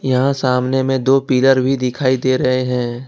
यहां सामने में दो पिलर भी दिखाई दे रहे है।